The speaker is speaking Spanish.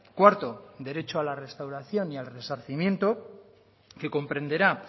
cuarto derecho a la restauración y al resarcimiento que comprenderá